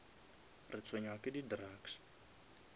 retshwenya ke di drugs